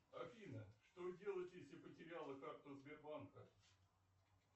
афина что делать если потеряла карту сбербанка